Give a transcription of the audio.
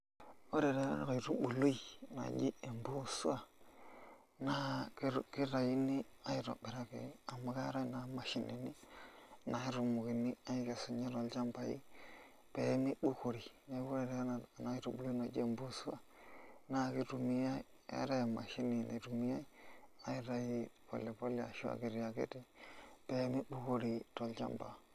Ore taa ena kaitubului naji empusua naa kitayuni aitobiraki amu keetai naa mashinini naatumokini aakesunyie tolchambai pee mibukore neeku ore ena aitubului naji empuusua naa kitumiai keetai emshini naitumiai aitayu pole pole ashu akiti akiti pee mibukori tolchamba.